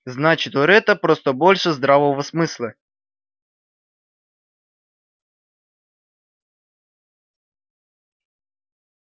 значит у ретта просто больше здравого смысла